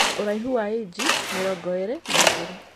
ũraihu wa inchi mĩrongo ĩrĩ na igĩrĩ